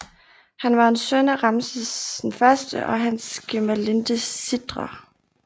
Han var en søn af Ramses I og hans gemalinde Sitre